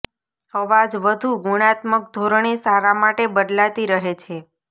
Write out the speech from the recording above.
અવાજ વધુ ગુણાત્મક ધોરણે સારા માટે બદલાતી રહે છે